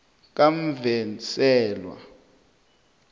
kamvenselwa